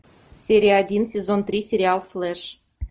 серия один сезон три сериал флэш